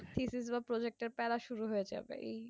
project এর তারা শুরু হয়ে যাবে